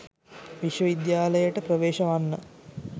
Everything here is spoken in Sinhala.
විශ්වවිද්‍යාලයට ප්‍රවේශ වන්න